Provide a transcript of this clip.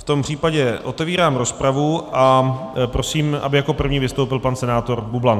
V tom případě otevírám rozpravu a prosím, aby jako první vystoupil pan senátor Bublan.